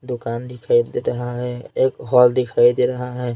दुकान दिखाई दे रहा है एक हॉल दिखाई दे रहा है।